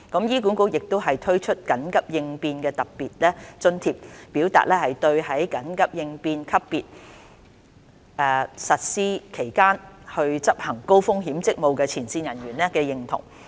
醫管局亦已推出緊急應變特別津貼，表達對在緊急應變級別實施期間執行高風險職務的前線人員的認同。